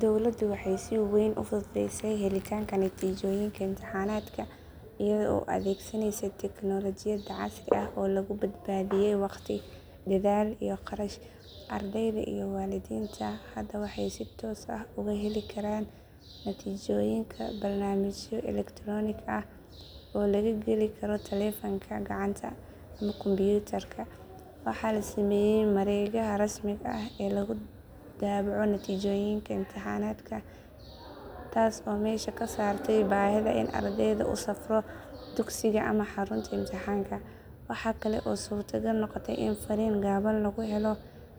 Dowladdu waxay si weyn u fududeysay helitaanka natiijooyinka imtixaanaadka iyada oo adeegsanaysa teknoolajiyad casri ah oo lagu badbaadiyay waqti, dadaal, iyo kharash. Ardayda iyo waalidiinta hadda waxay si toos ah uga heli karaan natiijooyinka barnaamijyo elektaroonik ah oo laga geli karo taleefanka gacanta ama kumbuyuutar. Waxa la sameeyay mareegaha rasmiga ah ee lagu daabaco natiijooyinka imtixaanaadka taas oo meesha ka saartay baahida in ardaygu u safro dugsiga ama xarunta imtixaanka. Waxaa kale oo suuragal noqotay in fariin gaaban lagu helo